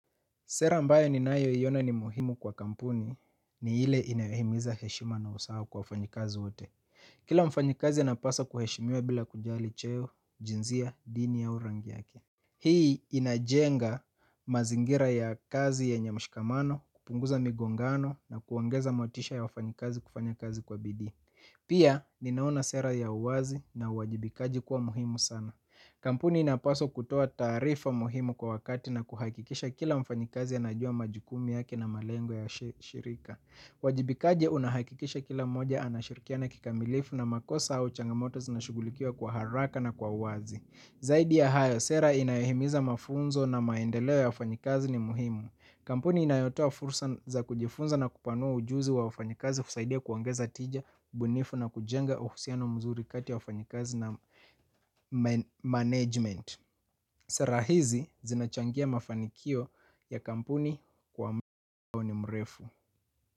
Sera ambayo ninayoiona ni muhimu kwa kampuni ni ile inayohimiza heshima na usawa kwa wafanyikazi wote. Kila mfanyikazi anapasa kuheshimiwa bila kujali cheo, jinsia, dini au rangi yake. Hii inajenga mazingira ya kazi yenye mshikamano, kupunguza migongano na kuongeza motisha ya wafanyikazi kufanya kazi kwa bidii. Pia, ninaona sera ya uwazi na uwajibikaji kuwa muhimu sana. Kampuni inapasa kutoa taarifa muhimu kwa wakati na kuhakikisha kila mfanyikazi anajua majukumu yake na malengo ya shirika. Uwajibikaji unahakikisha kila mmoja anashirikiana kikamilifu na makosa au changamoto zinashughulikiwa kwa haraka na kwa uwazi. Zaidi ya hayo sera inayohimiza mafunzo na maendeleo ya wafanyikazi ni muhimu. Kampuni inayotoa fursa za kujifunza na kupanua ujuzi wa wafanyikazi husaidia kuongeza tija, ubunifu na kujenga uhusiano mzuri kati ya wafanyikazi na management. Sera hizi zinachangia mafanikio ya kampuni kwa mbioni mrefu.